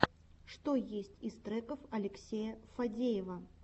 что есть из треков алексея фадеева